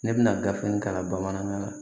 Ne bɛna gafe in kalan bamanankan na